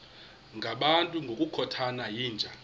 ngabantu ngokukhothana yinja